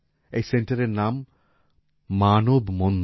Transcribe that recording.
এই সেন্টারের নাম মানব মন্দির